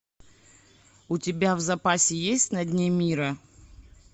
у тебя в запасе есть на дне мира